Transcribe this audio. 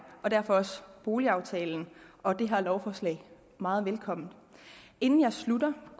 og derfor også boligaftalen og det her lovforslag meget velkommen inden jeg slutter